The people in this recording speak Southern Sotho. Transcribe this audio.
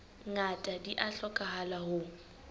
ngata di a hlokahala ho